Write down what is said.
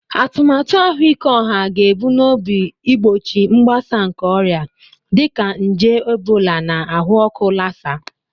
Atụmatụ ahụike ọha ga-ebumnobi igbochi mgbasa nke ọrịa dịka nje Ebola na ahụ ọkụ Lassa